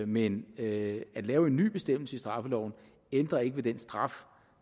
men at lave en ny bestemmelse i straffeloven ændrer ikke ved den straf